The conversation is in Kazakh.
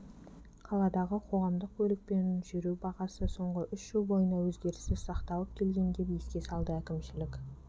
қаладағы қоғамдық көлікпен жүру бағасы соңғы үш жыл бойына өзгеріссіз сақталып келген деп еске салды әкімшілік